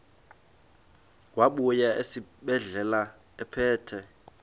wabuya esibedlela ephethe